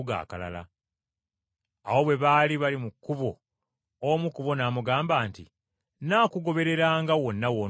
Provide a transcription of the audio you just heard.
Awo bwe baali bali mu kkubo omu ku bo n’amugamba nti, “Nnaakugobereranga wonna w’onoogendanga.”